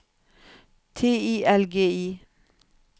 T I L G I